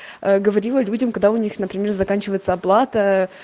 а говорила людям когда у них например заканчивается оплата